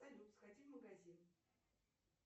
салют сходи в магазин